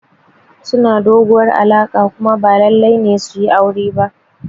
Suna doguwar alaƙa kuma ba lallai ne su yi aure ba.